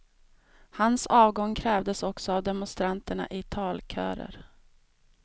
Hans avgång krävdes också av demonstranterna i talkörer.